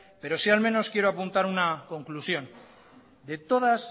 pero sí al menos quiero apuntar una conclusión de todas